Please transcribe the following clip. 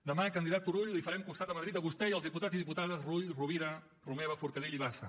demà candidat turull li farem costat a madrid a vostè i als diputats i diputades rull rovira romeva forcadell i bassa